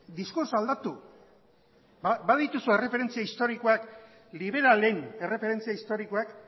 diskoz aldatu badituzu erreferentzia historikoak liberalen erreferentzia historikoak